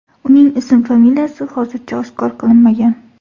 Uning ism-familiyasi hozircha oshkor qilinmagan.